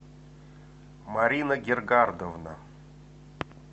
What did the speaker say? марина гергардовна